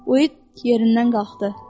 Uyid yerindən qalxdı.